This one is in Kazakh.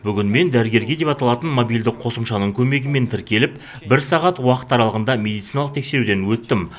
бүгін мен дәрігерге деп аталатын мобильдік қосымшаның көмегімен тіркеліп бір сағат уақыт аралығында медициналық тексеруден өттім